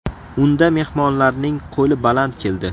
Unda mehmonlarning qo‘li baland keldi.